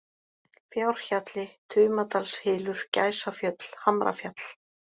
Fjárhjalli, Tumadalshylur, Gæsafjöll, Hamrafjall